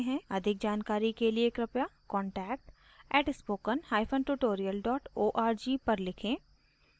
अधिक जानकारी के लिए कृपया contact @spokentutorial org पर लिखें